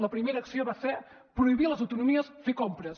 la primera acció va ser prohibir a les autonomies fer compres